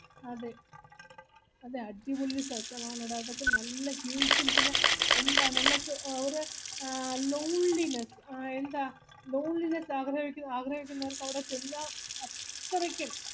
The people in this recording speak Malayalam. അതെ നല്ല അടിപൊളി സ്ഥലം അതൊക്കെ നല്ലേ ഉം പിന്നെ എന്താ loneliness lonelyness ആഗ്രഹിക്കുന്നവർക് അവിടെച്ചെന്ന അത്രക്കും